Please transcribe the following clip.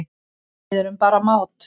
Við erum bara mát